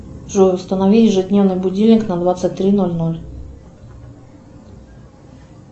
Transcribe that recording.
джой установи ежедневный будильник на двадцать три ноль ноль